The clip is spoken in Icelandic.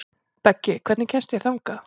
Beggi, hvernig kemst ég þangað?